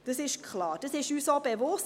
Das ist klar, das ist uns auch bewusst.